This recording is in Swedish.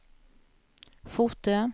Fotö